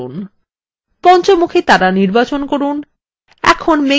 পঞ্চমুখী তারা নির্বাচন করুন